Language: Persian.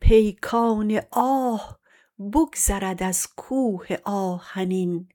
پیکان آه بگذرد از کوه آهنین